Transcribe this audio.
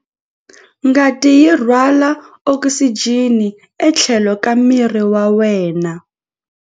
Ngati yi rhwala okisijeni etlhelo ka miri wa wena.